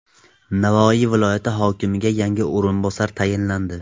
Navoiy viloyati hokimiga yangi o‘rinbosar tayinlandi.